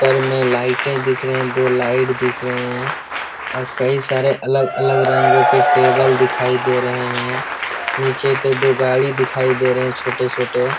ऊपर में लाइटें दिख रहे हैं दो लाइट दिख रहे हैं और कई सारे अलग-अलग रंगों के टेबल दिखाई दे रहे हैं नीचे पे दो गाड़ी दिखाई दे रहे हैं छोटे-छोटे।